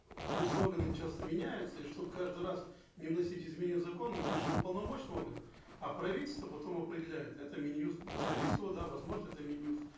госорганы часто меняются и чтобы каждый раз не вносить изменения в закон мы пишем уполномоченный орган а правительство потом определяет это мин юст скорее всего да возможно это мин юст